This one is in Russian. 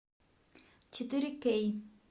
четыре кей